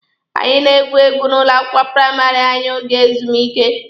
Anyi na-egwu egwu n'ụlọ akwụkwọ praịmarị anyị oge ezumike.